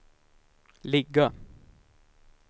ligga